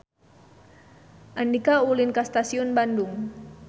Andika ulin ka Stasiun Bandung